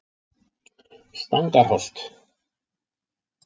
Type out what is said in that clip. Stangarholti